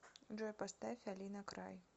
джой поставь алина край